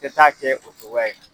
Tɛ taa kɛ o togoya in na